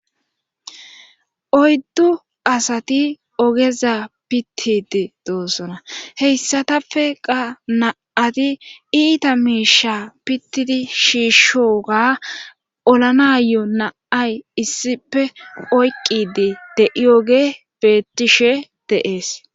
Oyddu asati ogeza pittidi doossona heyssatappe qa na'ati iita miisha pittidi shiishshoga olanayo na'ay issipe oyqqidi de'ioge beettishe deees.